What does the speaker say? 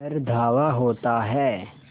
पर धावा होता है